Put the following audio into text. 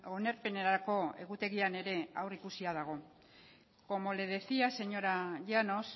onarpenerako egutegian ere aurreikusia dago como le decía señora llanos